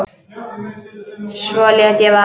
Svo lét ég vaða.